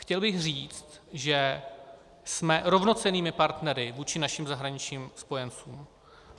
Chtěl bych říct, že jsme rovnocennými partnery vůči našim zahraničním spojencům.